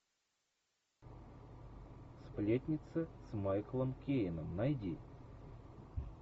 сплетница с майклом кейном найди